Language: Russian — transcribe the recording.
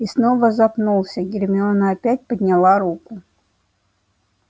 и снова запнулся гермиона опять подняла руку